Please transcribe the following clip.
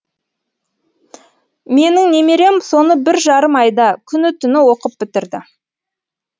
менің немерем соны бір жарым айда күні түні оқып бітірді